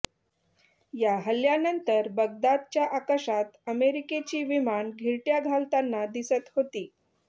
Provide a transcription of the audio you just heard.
या हल्ल्यानंतर बगदादच्या आकाशात अमेरिकेची विमानं घिरट्या घालताना दिसत होती